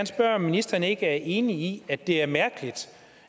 spørge om ministeren ikke er enig i at det er mærkeligt